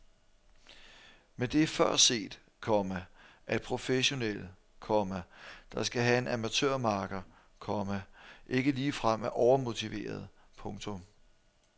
Men det er før set, komma at professionelle, komma der skal have en amatørmakker, komma ikke ligefrem er overmotiverede. punktum